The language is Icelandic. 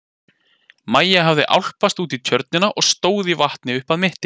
Maja hafði álpast út í tjörnina og stóð í vatni upp að mitti.